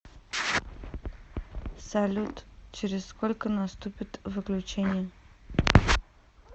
салют через сколько наступит выключение